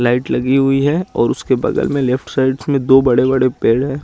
Light लगी हुई है और उसके बगल में लेफ्ट साइड्स में दो बड़े बड़े पेड़ है।